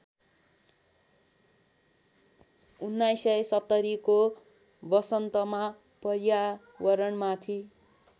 १९७०को वसन्तमा पर्यावरणमाथि